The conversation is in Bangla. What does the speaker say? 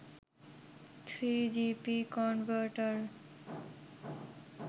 3gp converter